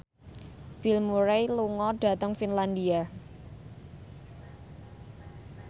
Bill Murray lunga dhateng Finlandia